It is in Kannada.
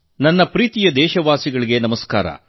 ನನ್ನ ಆತ್ಮೀಯ ದೇಶವಾಸಿಗಳೇ ನಮಸ್ಕಾರ